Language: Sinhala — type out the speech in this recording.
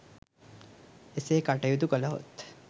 එසේ කටයුතු කළහොත්